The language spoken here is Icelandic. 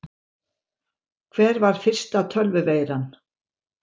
Hver var fyrsta tölvuveiran?